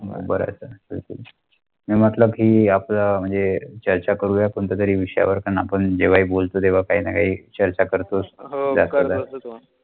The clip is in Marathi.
भरे आसा बिलकुल. अह मतलब की आपल्या महणजे चर्चा करूं घेया कोंटा तारि विषय वर करण आपन जेव्‍हा बोलते तेव्‍हा कही ना कही चर्च करत आस्तो